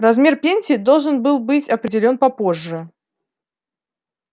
размер пенсии должен был быть определён попозже